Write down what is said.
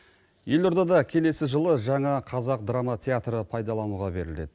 елордада келесі жылы жаңа қазақ драма театры пайдалануға беріледі